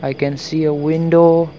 i can see a window.